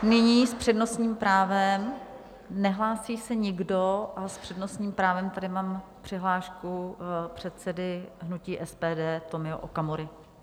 Nyní s přednostním právem... nehlásí se nikdo, ale s přednostním právem tady mám přihlášku předsedy hnutí SPD Tomia Okamury.